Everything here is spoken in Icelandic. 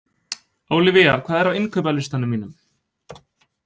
Ólivía, hvað er á innkaupalistanum mínum?